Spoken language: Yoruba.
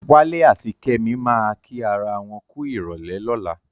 Wálé àti Kẹ́mi máa kí ara wọn kú ìrọ̀lẹ́ lọ́la.